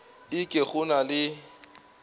e ke go na le